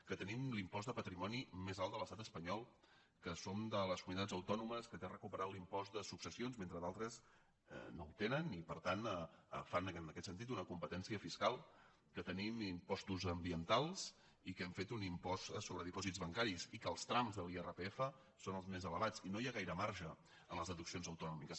que tenim l’impost de patrimoni més alt de l’estat espanyol que som de les comunitats autònomes que tenen recuperat l’impost de successions mentre d’altres no el tenen i per tant fan en aquest sentit una competència fiscal que te·nim impostos ambientals i que hem fet un impost so·bre dipòsits bancaris i que els trams de l’irpf són els més elevats i no hi ha gaire marge en les deduccions autonòmiques